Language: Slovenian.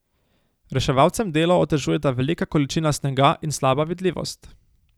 Reševalcem delo otežujeta velika količina snega in slaba vidljivost.